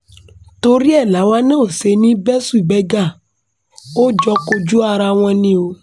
torí ẹ̀ làwa náà ò ṣe ní í bẹ́ṣù bẹ́gbà a ò jọ kojú ara wa ni o